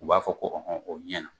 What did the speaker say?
U b'a fɔ ko a bɛ ɲɛn.